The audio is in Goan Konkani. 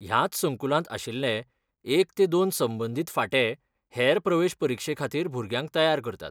ह्याच संकुलांत आशिल्ले एक ते दोन संबंदीत फांटे हेर प्रवेश परिक्षेखातीर भुरग्यांक तयार करतात.